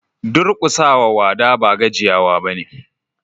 Durkusa wa wada ba gajiyawa bane.